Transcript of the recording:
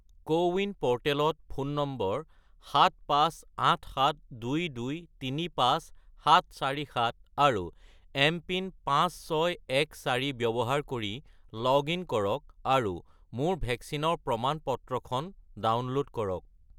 CoWIN প'ৰ্টেলত phone number 75872235747 আৰু MPIN 5614 ব্যৱহাৰ কৰি লগ-ইন কৰক আৰু মোৰ ভেকচিনৰ প্ৰমাণ-পত্ৰখন ডাউনলোড কৰক।